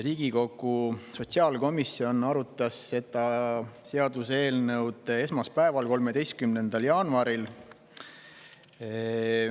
Riigikogu sotsiaalkomisjon arutas seda seaduseelnõu esmaspäeval, 13. jaanuaril.